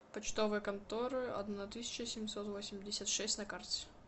почтовая контора одна тысяча семьсот восемьдесят шесть на карте